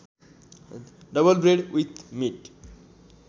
double bread with meet